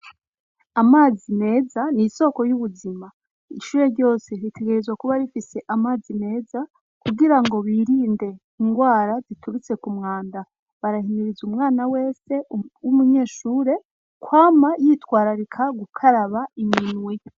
Amazi meza ni isoko ry'ubuzima ishure ryose ritegerezwa kuba rifise amazi meza kugira ngo birinde indwara ziturutse ku mwanda barahimiriza umwana wese w'umunyeshure kwama yitwararika gukaraba iminwe.